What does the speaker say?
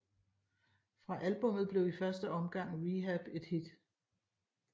Fra albummet blev i første omgang Rehab et hit